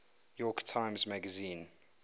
york times magazine